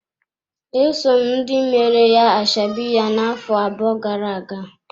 Esom ndị meere ya ashebi ya na-afọ abụọ gara-aga.